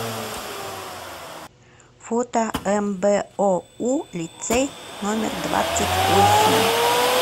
фото мбоу лицей номер двадцать восемь